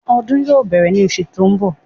Ọdún yóò bẹ̀rẹ̀ ní osù tí ó ń bọ̀